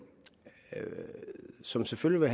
som selvfølgelig